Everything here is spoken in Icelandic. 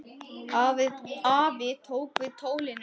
Afi tók við tólinu.